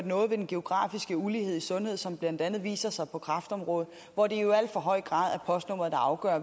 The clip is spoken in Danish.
noget ved den geografiske ulighed i sundhed som blandt andet viser sig på kræftområdet hvor det jo i al for høj grad er postnummeret der afgør